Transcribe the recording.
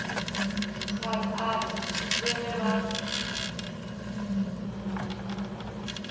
gaan aan le ge ba